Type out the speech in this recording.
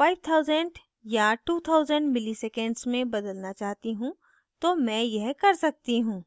5000 या 2000 milliseconds में बदलना चाहती हूँ तो मैं यह कर सकती हूँ